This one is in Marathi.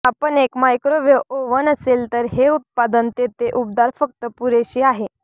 आपण एक मायक्रोवेव्ह ओव्हन असेल तर हे उत्पादन तेथे उबदार फक्त पुरेशी आहे